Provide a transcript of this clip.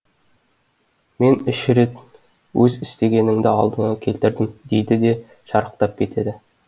мен үш рет өз істегеніңді алдыңа келтірдім дейді де шарықтап кетеді